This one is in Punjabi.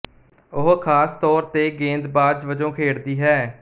ਉਹ ਖ਼ਾਸ ਤੌਰ ਤੇ ਗੇਂਦਬਾਜ਼ ਵਜੋਂ ਖੇਡਦੀ ਹੈ